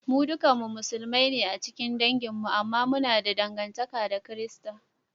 Mu duka Musulmai ne a cikin dangin mi, amma muna da dangantaka ta Kirista